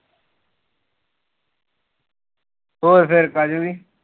ਹੋਰ ਫਿਰ ਕਾਜਲ ਜੀ